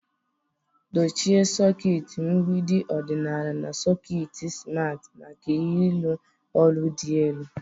Dochie sọket mgbidi ọdịnala na sọket simarti maka ịrụ ọrụ dị elu.